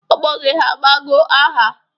Ọgbọ gị ha abago aha?